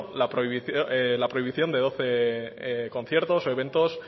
la prohibición de doce conciertos o eventos